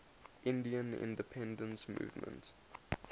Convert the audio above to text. indian independence movement